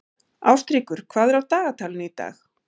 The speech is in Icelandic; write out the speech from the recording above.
Ástríkur, hvað er á dagatalinu í dag?